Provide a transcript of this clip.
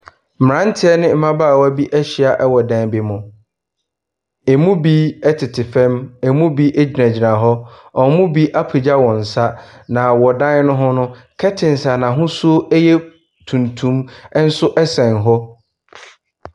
Mmranteɛ ne mmabaawa bi ɛhyia ɛwɔ dan bi mu. Emu bi ɛtete fam, emu bi egyinagyina hɔ. Wɔn bi apegya wɔn sa. Na wɔ dan ne ho no, curtains a n'ahosuo ɛyɛ tuntum ɛsɛn hɔ.